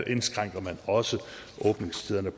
indskrænker også åbningstiderne